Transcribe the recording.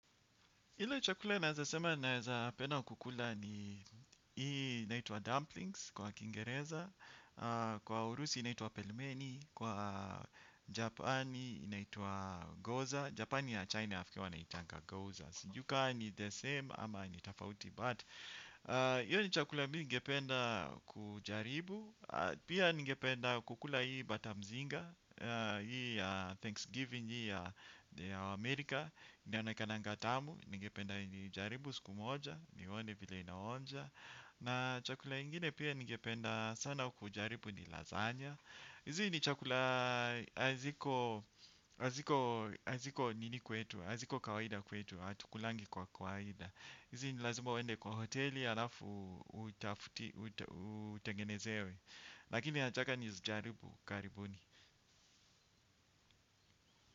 Ile chakula naeza sema naeza penda kukula ni hii inaituwa Dumplings kwa Kiingereza. Kwa Urusi inaitwa Pelmeni. Kwa Japani inaitwa Goza Japani ya China nafikiri wanaitanga Goza. Sijui ka ni the same ama ni tofauti But hiyo ni chakula mi nigependa kujaribu. Pia nigependa kukula hii Batamzinga. Hii ya Thanksgiving hii ya Amerika. Ni anakana ngatamu, nige penda ni jaribu siku moja. Ni one vile inaonja. Na chakula ingine pia ninge penda sana kujaribu ni lazanya. Hizi ni chakula haziko nini kwetu haziko kawaida kwetu, atukulangi kwa kawaida. Hizi ni lazima uende kwa hoteli, alafu utengenezewe. Lakini nataka nizi jaribu karibuni.